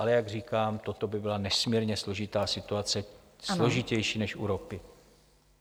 Ale jak říkám, toto by byla nesmírně složitá situace, složitější než u ropy.